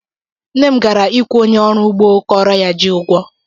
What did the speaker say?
Nna m gara ịkwụ onye ọrụ ugbo kọọrọ ya ji ụgwọ.